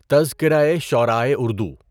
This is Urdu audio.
تذکرۂ شعرائے اردو